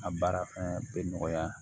A baara fana bɛ nɔgɔya